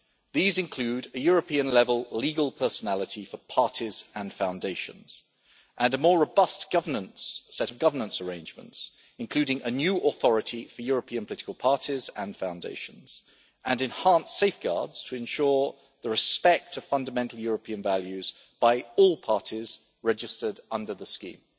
These include a European level legal personality for parties and foundations, and a more robust set of governance arrangements, including a new authority for European political parties and foundations, and enhanced safeguards to ensure respect for fundamental European values by all parties registered under the scheme.